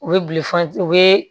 U bɛ u bɛ